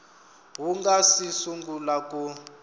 wu nga si sungula ku